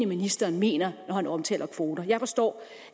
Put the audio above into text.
ministeren mener når han omtaler kvoter jeg forstår